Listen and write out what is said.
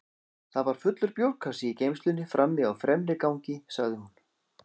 Það var fullur bjórkassi í geymslunni frammi á fremra gangi, sagði hún.